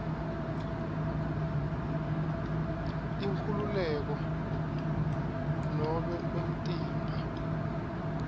inkhululeko nobe umtimba